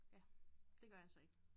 Ja det gør jeg så ikke